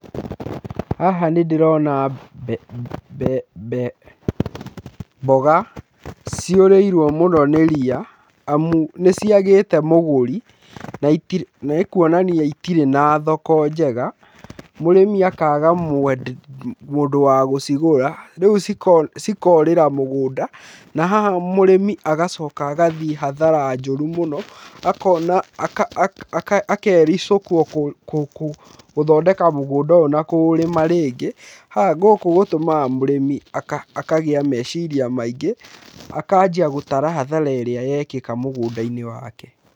Haha nĩ ndĩrona mboga ciorĩirwo mũno nĩ ria amu nĩ ciagĩte mũgũri nĩ kuonania itirĩ na thoko njega, mũrĩmi akaga mũndũ wa gũcigũra rĩu cikorĩra mũgũnda na haha mũrĩmi agacoka agathiĩ hathara njũru mũno akona, akericũkwo gũthondeka mũgũnda ũyũ na kũũrĩma rĩngĩ gũkũ gũtũmaga mũrĩmi akagĩa meciria maingĩ akanjia gũtara hathara ĩrĩa yekĩka mũgũndainĩ wake.